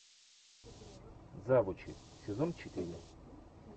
завучи сезон четыре